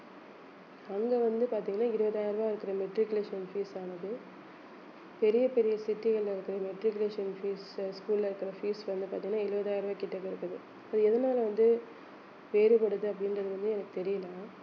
அங்க வந்து பாத்தீங்கன்னா இருபதாயிரம் ரூபாய் இருக்கிற matriculation fees ஆனது பெரிய பெரிய city கள்ல இருக்கு matriculation fees உ school ல இருக்கிற fees வந்து பார்த்தீங்கன்னா எழுபதாயிரம் ரூபாய் கிட்டக்க இருக்குது so எதனால வந்து வேறுபடுது அப்படின்றது வந்து எனக்கு தெரியல